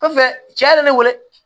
Kɔfɛ cɛ nana ne wele